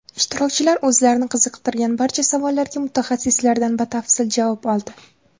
Ishtirokchilar o‘zlarini qiziqtirgan barcha savollarga mutaxassislardan batafsil javob oldi.